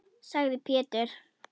sagði Pétur.